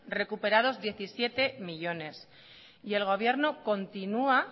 recuperados diecisiete millónes y el gobierno continúa